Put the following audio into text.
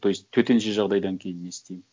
то есть төтенше жағдайдан кейін не істеймін